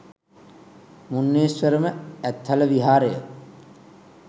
මුන්නේශ්වරම, ඇත්හල විහාරය